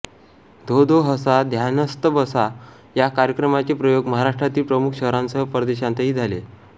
धो धो हसा ध्यानस्थ बसा या कार्यक्रमाचे प्रयोग महाराष्ट्रातील प्रमुख शहरांसह परदेशांतही झाले